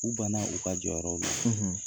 U banna u ka jɔyɔrɔw la.